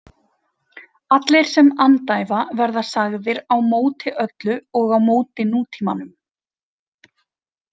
Allir sem andæfa verða sagðir „á móti öllu“ og „á móti nútímanum“.